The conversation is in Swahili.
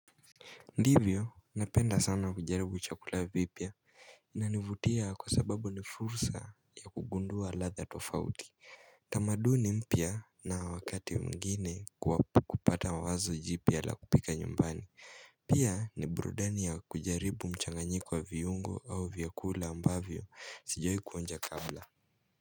Ndivyo napenda sana kujaribu chakula vipya inanivutia kwa sababu ni fursa ya kugundua ladha tofauti tamaduni mpya na wakati mwingine kupata wazo jipya la kupika nyumbani pia ni burudani ya kujaribu mchanganyiko wa viungo au vyakula ambavyo sijawahi kuonja kabla.